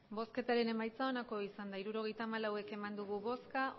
hirurogeita hamalau eman dugu bozka